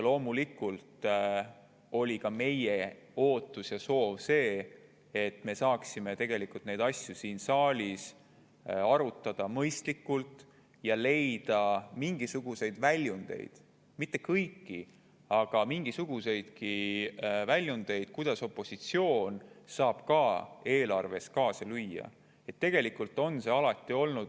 Loomulikult oli ka meie ootus ja soov, et me saaksime neid asju siin saalis mõistlikult arutada ja leida mingisuguseid väljundeid, kui isegi mitte kõigi, siis leida mingisuguseidki väljundeid, kuidas opositsioon saab ka eelarve kaasa lüüa.